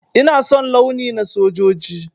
Ina son launi na sojoji.